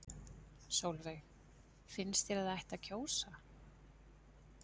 Sólveig: Finnst þér að það ætti að kjósa?